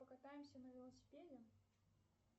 покатаемся на велосипеде